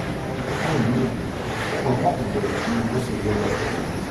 fún ìdí èyí o kò ní láti bẹrù ju bó ṣe yẹ lọ